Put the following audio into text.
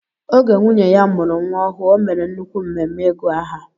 Oge nwunye ya mụrụ nwa ọhụụ o mèrè nnukwu mmemme ịgu aha.